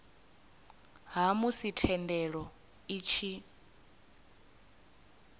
ha musi thendelo i tshi